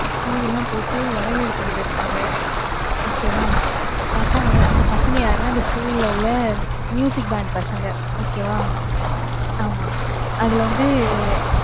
பூவெல்லாம் போட்டு, வரவேறுத்துக்கிட்டு இருப்பாங்க, okay வா? பார்த்தா, அந்த பசங்க யாருன்னா, அந்த school ல உள்ள, band பசங்க, okay வா? ஆமா. அதுல வந்து